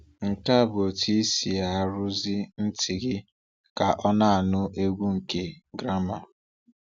Nke a bụ otú ị si arụzụ ntị gị ka ọ na-anụ egwu nke gramà.